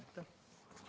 Aitäh!